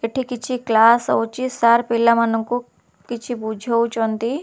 ଏଠି କିଛି କ୍ଲାସ୍ ହୋଉଚି ସାର୍ ପିଲାମାନଙ୍କୁ କଛି ବୁଝୋଉଚନ୍ତି।